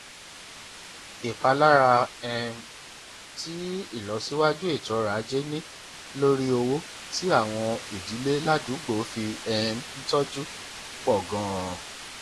ìpalára um tí ìlọsíwájú ètò ọrọ ajé ní lórí owó tí àwọn ìdílé ládùúgbò fi um ń tọjú pọ ganan